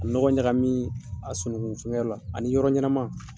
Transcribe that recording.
A nɔgɔ ɲaga min a sunukun fɛn kɛ yɔrɔ la ani yɔrɔ ɲɛnama.